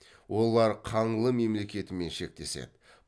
олар қаңлы мемлекетімен шектеседі